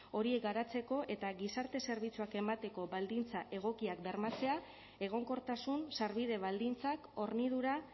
horiek garatzeko eta gizarte zerbitzuak emateko baldintza egokiak bermatzea egonkortasun sarbide baldintzak hornidura